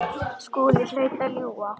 Skúli hlaut að ljúga.